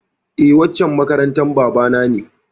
Eh, waccan makarantar bana na ne.